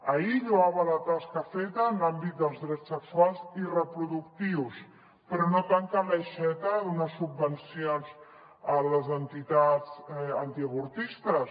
ahir lloava la tasca feta en l’àmbit dels drets sexuals i reproductius però no tanquen l’aixeta a donar subvencions a les entitats antiavortistes